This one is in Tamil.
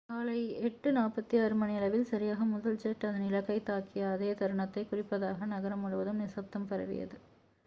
காலை 8:46 மணியளவில் சரியாக முதல் ஜெட் அதன் இலக்கைத் தாக்கிய அதே தருணத்தைக் குறிப்பதாக நகரம் முழுவதும் நிசப்தம் பரவியது